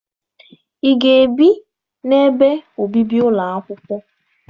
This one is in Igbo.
Ị ga-ebi n'ebe obibi ụlọ akwụkwọ?